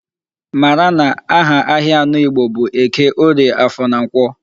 Mara na aha ahịa anọ Igbo bụ Eke, Orie, Afọ na Nkwọ.